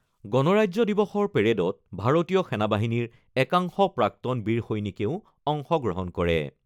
গণৰাজ্য দিৱসৰ পেৰেডত ভাৰতীয় সেনাবাহিনীৰ একাংশ প্ৰাক্তন বীৰ সৈনিকেও অংশগ্ৰহণ কৰে।